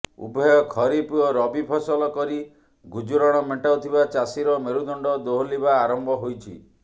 ଉଭୟ ଖରିଫ ଓ ରବି ଫସଲ କରି ଗୁଜୁରାଣ ମେଣ୍ଟାଉଥିବା ଚାଷୀର ମେରୁଦଣ୍ଡ ଦୋହଲିବା ଆରମ୍ଭ ହୋଇଛି